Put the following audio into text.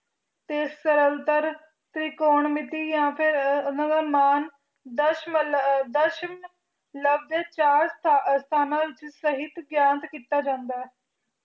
ਤੇ ਸਰਲਤਰ ਤ੍ਰਿਕੋਣ ਮਿੱਤੀ ਜਾ ਫਿਰ ਮਾਣ ਦਸ਼ਮਲਵ ਦੇ ਚਾਰ ਸਥਾਨਾ ਸਹੀ ਗਿਆਤ ਕੀਤਾ ਜਾਂਦਾ ਹੈ